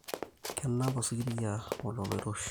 Kenap osikiria olola loiroshi